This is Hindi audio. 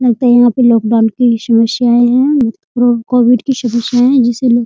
लगता है यहाँ पे लोग की समस्याएं है कोविड की समस्याएं है जिसे लोग --